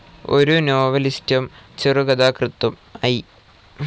ഒരു നോവലിസ്റ്റും ചെറുകഥാകൃത്തും ഐ.